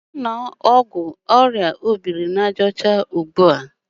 Gaa were ọgwụ orịa obiri-na-aja ocha gị ugbu a!